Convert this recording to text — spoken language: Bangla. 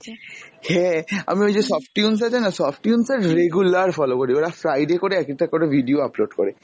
হ্যাঁ, আমি ওই যে softoons আছে না softoons এর regular follow করি, ওরা Friday করে এক-একটা করে video upload করে,